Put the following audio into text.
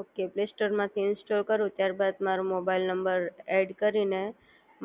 okay play સ્ટોરમાંથી install કરું ત્યારબાદ મારો મોબાઇલ નંબર એડ કરીને